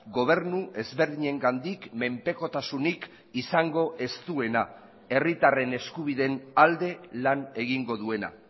gobernu ezberdinengandik menpekotasunik izango ez duena herritarren eskubideen alde lan egingo duena